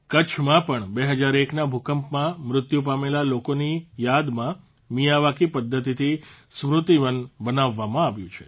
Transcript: કચ્છમાં પણ ૨૦૦૧ના ભૂકંપમાં મૃત્યુ પામેલા લોકોની યાદમાં મિયાવાકી પદ્ધતિથી સ્મૃતિવન બનાવવામાં આવ્યું છે